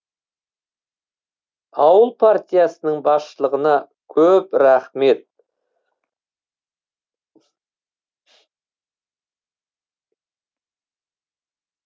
ауыл партиясының басшылығына көп рахмет